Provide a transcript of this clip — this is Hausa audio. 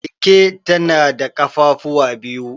Keke tana da ƙafafuwa biyu.